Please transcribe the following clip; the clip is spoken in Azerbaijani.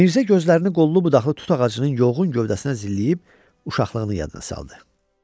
Mirzə gözlərini qollu-budaqlı tut ağacının yolğun gövdəsinə zilləyib, uşaqlığını yadına saldı.